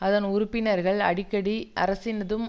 அதன் உறுப்பினர்கள் அடிக்கடி அரசினதும்